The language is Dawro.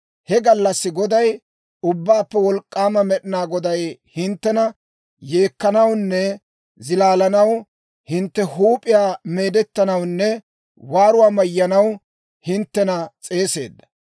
He gallassi Goday, Ubbaappe Wolk'k'aama Med'inaa Goday hinttena yeekkanawunne zilaalanaw, hintte huup'iyaa meedettanawunne waaruwaa mayyanaw hinttena s'eeseedda.